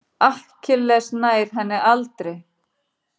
Akkilles nær henni aldrei.